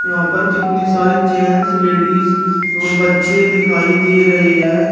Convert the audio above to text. यहां पर कितनी सारी जेंट्स लेडीज और बच्चे दिखाई दे रहे हैं।